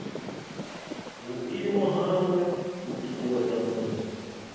vhuimo hawe u ṱuṱuwedza muṅwe